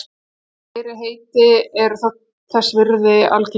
en fleiri heiti eru til þótt þessi virðist algengust